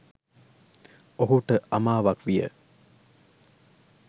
ඔහුට අමාවක් විය